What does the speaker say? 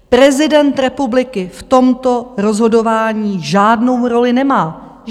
Prezident republiky v tomto rozhodování žádnou roli nemá.